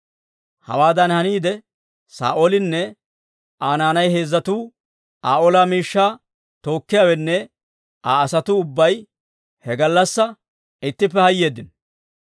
Hawaadan haniide, Saa'oolinne Aa naanay heezzatuu, Aa ola miishshaa tookkiyaawenne Aa asatuu ubbay he gallassaa ittippe hayeeddino.